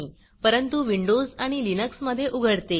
परंतु विंडोज आणि लिन्क्समधे उघडते